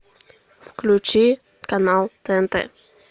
включи канал тнт